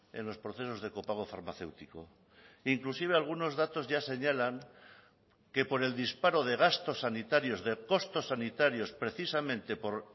en los procesos de copago farmacéutico inclusive algunos datos ya señalan que por el disparo de gastos sanitarios de costos sanitarios precisamente por